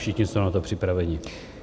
Všichni jsme na to připraveni.